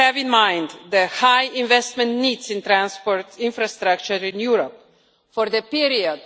all have in mind the high investment needs in transport infrastructure in Europe for the period